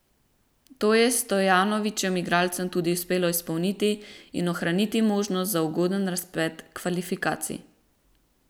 To je Stojanovićevim igralcem tudi uspelo izpolniti in ohraniti možnosti za ugoden razplet kvalifikacij.